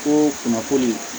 Ko kunnafoni